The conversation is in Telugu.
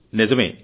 నిజమే